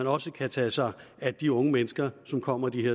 også kan tage sig af de unge mennesker som kommer de